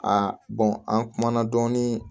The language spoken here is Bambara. Aa an kumana dɔɔnin